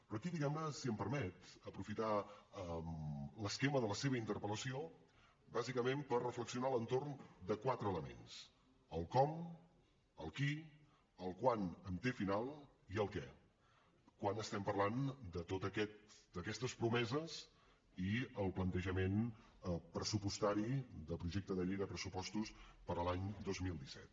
però aquí diguem ne si m’ho permet aprofitaré l’esquema de la seva interpel·lació bàsicament per reflexionar a l’entorn de quatre elements el com el qui el quant amb te final i el què quan parlem de totes aquestes promeses i el plantejament pressupostari del projecte de llei de pressupostos per a l’any dos mil disset